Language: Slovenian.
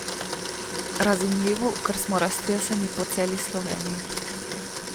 Razumljivo, ker smo raztreseni po vsej Sloveniji.